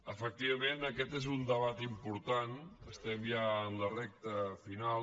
efectivament aquest és un debat important estem ja en la recta final